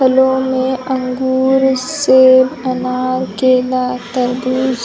फलो में अंगूर सेव अनार केला तरबूज़--